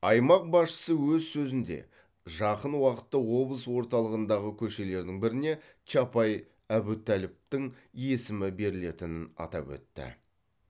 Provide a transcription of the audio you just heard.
аймақ басшысы өз сөзінде жақын уақытта облыс орталығындағы көшелердің біріне чапай әбутәліповтың есімі берілетінін атап өтті